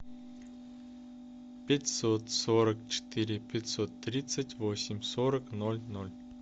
пятьсот сорок четыре пятьсот тридцать восемь сорок ноль ноль